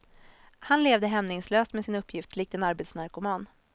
Han levde hämningslöst med sin uppgift likt en arbetsnarkoman.